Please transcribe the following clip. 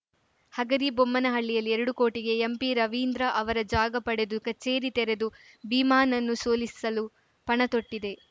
ಹಗರಿಬೊಮ್ಮನಹಳ್ಳಿಯಲ್ಲಿ ಎರಡು ಕೋಟಿಗೆ ಎಂಪಿರವೀಂದ್ರ ಅವರ ಜಾಗ ಪಡೆದು ಕಚೇರಿ ತೆರೆದು ಭೀಮಾನನ್ನು ಸೋಲಿಸಲು ಪಣ ತೊಟ್ಟಿದ್ದೆ